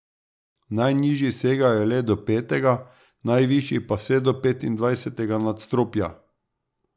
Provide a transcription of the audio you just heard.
Najnižji segajo le do petega, najvišji pa vse do petindvajsetega nadstropja.